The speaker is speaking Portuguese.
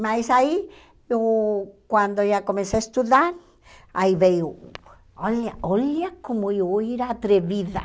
Mas aí, uh quando eu já comecei a estudar, aí veio... Olha olha como eu era atrevida.